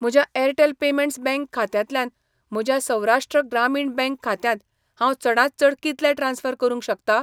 म्हज्या Airtel payments bank खात्यांतल्यान म्हज्या सौराष्ट्र ग्रामीण बँक खात्यांत हांव चडांत चड कितले ट्रान्स्फर करूंक शकता?